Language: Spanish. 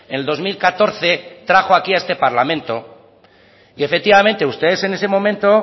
el dos mil catorce trajo aquí a este parlamento y efectivamente ustedes en ese momento